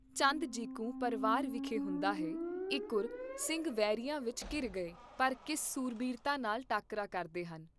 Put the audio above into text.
ਚੰਦ ਜਿਕੂੰ ਪਰਵਾਰ ਵਿਖੇ ਹੁੰਦਾ ਹੈ, ਇੱਕੁਰ ਸਿੰਘ ਵੈਰੀਆਂ ਵਿਚ ਘਿਰ ਗਏ, ਪਰ ਕਿਸ ਸੂਰਬੀਰਤਾ ਨਾਲ ਟਾਕਰਾ ਕਰਦੇ ਹਨ?